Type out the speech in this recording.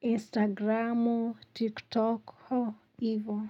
Instagramu, TikToku, ivo.